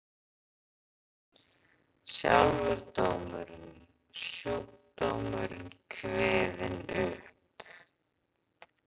Sjálfur dómurinn, sjúkdómurinn kveðinn upp.